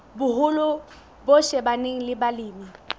boholo bo shebaneng le balemi